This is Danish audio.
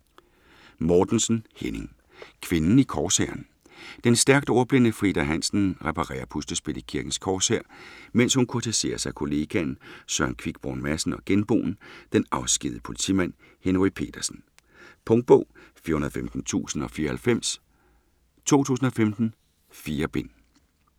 Mortensen, Henning: Kvinden i korshæren Den stærkt ordblinde Frida Hansen reparerer puslespil i Kirkens Korshær mens hun kurtiseres af kollegaen Søren Quickborn Madsen og genboen, den afskedigede politimand, Henry Petersen. Punktbog 415094 2015. 4 bind.